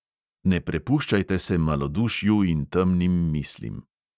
Ne prepuščajte se malodušju in temnim mislim.